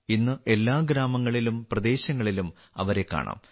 ഇന്ന് എല്ലാ ഗ്രാമങ്ങളിലും പ്രദേശങ്ങളിലും അവരെ കാണാം